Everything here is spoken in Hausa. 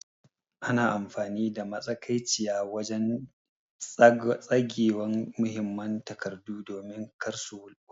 Ana amfani da matsakaiciya wajen tsagewan muhimman takardu domin kar su watse.